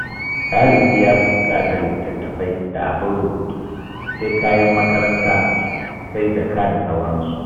Ɗalibi ya fi buƙatar litattafai da abin rubutu sai kayan makaranta sai jaka da sauransu.